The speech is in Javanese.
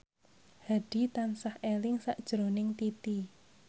Hadi tansah eling sakjroning Titi